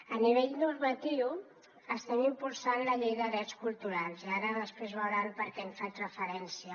a nivell normatiu estem impulsant la llei de drets culturals i ara després veuran per què hi faig referència